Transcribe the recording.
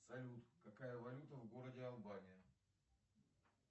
салют какая валюта в городе албания